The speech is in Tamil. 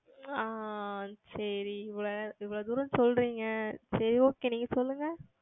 ஆஹ் சரி இவ்வளவு தூரம் சொல்லுகிறீர்கள் சரி Okay நீங்கள் சொல்லுங்கள்